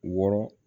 Wɔɔrɔ